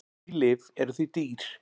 Ný lyf eru því dýr.